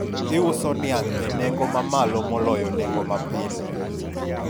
iuso niang' e nengo mamalo moloyo nengo mapile